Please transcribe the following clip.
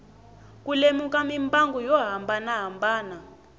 ku lemuka mimbangu yo hambanahambana